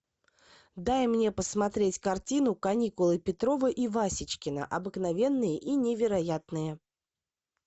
дай мне посмотреть картину каникулы петрова и васечкина обыкновенные и невероятные